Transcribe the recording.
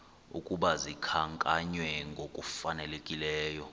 ukuba zikhankanywe ngokufanelekileyo